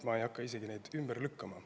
Ma isegi ei hakka neid ümber lükkama.